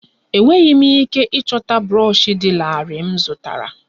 Enweghị m ike ịchọta brọshi dị larịị m zụtara